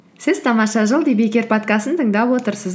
сіз тамаша жыл подкастын тыңдап отырсыз